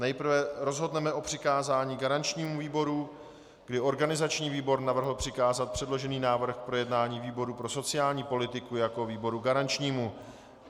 Nejprve rozhodneme o přikázání garančnímu výboru, kdy organizační výbor navrhl přikázat předložený návrh k projednání výboru pro sociální politiku jako výboru garančnímu.